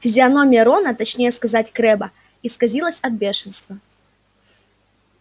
физиономия рона точнее сказать крэбба исказилась от бешенства